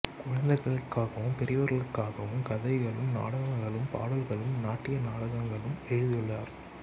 குழந்தைகளுக்காகவும் பெரியவர்களுக்காகவும் கதைகளும் நாடகங்களும் பாடல்களும் நாட்டிய நாடகங்களும் எழுதியுள்ளார்